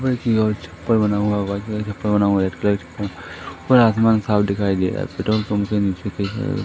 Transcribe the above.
की ओर छप्पर बना हुआ व्हाइट कलर छप्पर बना हुआ रेड कलर का छप्पर और आसमान साफ दिखाई दे रहा